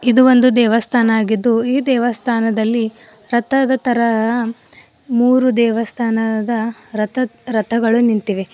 ಇದು ಒಂದು ದೇವಸ್ಥಾನ ಅಗಿದ್ದು ಈ ದೇವಸ್ಥಾನದಲ್ಲಿ ರತದ ತರ ಆ ಮೂರು ದೇವಸ್ಥಾನದ ರಥ ರಥಗಳು ನಿಂತಿವೆ.